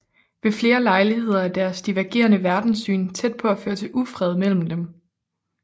Ved flere lejligheder er deres divergerende verdenssyn tæt på at føre til ufred imellem dem